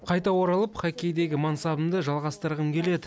қайта оралып хоккейдегі мансабымды жалғастырғым келеді